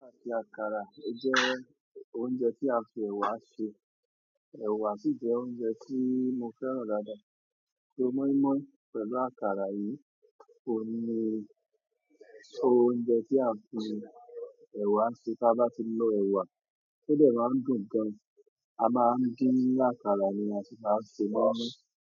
Ti àkàrà, ó jẹ́ oúnjẹ tí a n fi ẹ̀wà ṣe. Ẹ̀wà sì jẹ́ oúnjẹ tí mo fẹ́ràn dáadáa. So mọ́ínmọ́ín pẹ̀lú àkàrà yìí, óun ni oúnjẹ tí a n fi ẹ̀wà ṣe. Ta bá ti lò ẹ̀wà, ó dẹ̀ maá n dùn gan. A máa ń dín àkàrà ni a sì máa ń se mọ́ínmọ́ín.